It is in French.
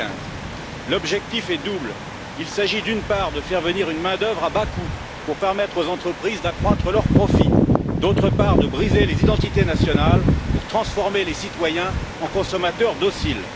2015. L'objectif est double il s'agit, d'une part, de faire venir une main d'œuvre à bas coûts pour permettre aux entreprises d'accroître leurs profits et, d'autre part, de briser les identités nationales pour transformer les citoyens en consommateurs dociles.